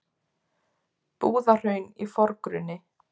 Búðahraun í forgrunni.